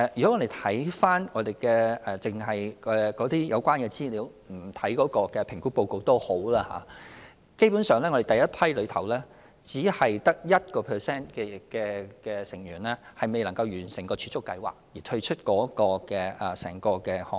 即使我們只看有關資料而不看評估報告，基本上，第一批參與者之中只有 1% 成員因未能完成儲蓄計劃而退出整個項目。